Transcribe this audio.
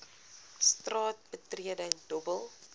straat betreding dobbel